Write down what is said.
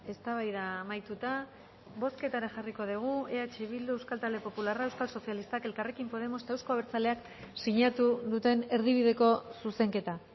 eztabaida amaituta bozketara jarriko dugu eh bildu euskal talde popularra euskal sozialistak elkarrekin podemos eta euzko abertzaleak sinatu duten erdibideko zuzenketa